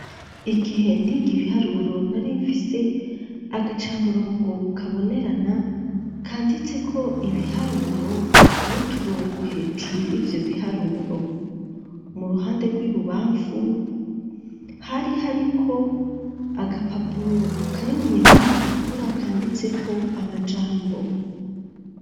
Igihe nige ibiharuro nari mfise agacamurongo kabonerana kanditse ko ibiharuro n'uturongo hejuru y'ivyo biharuro, mu ruhande rw'ibubamfu hari hari ko agapapuro kari mwibara ritukura kanditse ko amajambo.